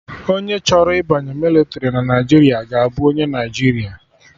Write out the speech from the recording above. Onye chọrọ ịbanye mịlịtrị na Naijiria ga-abụ onye Naijiria